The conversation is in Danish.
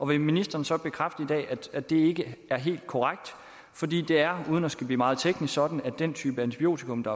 vil ministeren så bekræfte i dag at det ikke er helt korrekt fordi det er uden at der skal blive meget teknisk sådan at den type antibiotikum der